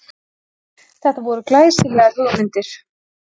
Þetta voru glæsilegar hugmyndir